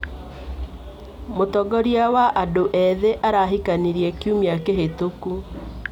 Mũtongoria wa andũ ethĩ arahikanirie kiumia kĩhĩtũku.